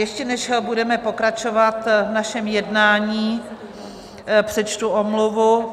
Ještě, než budeme pokračovat v našem jednání, přečtu omluvu.